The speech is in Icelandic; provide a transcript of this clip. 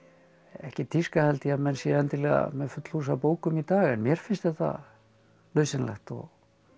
ekkert tíska held ég að menn séu með full hús af bókum í dag en mér finnst þetta nauðsynlegt og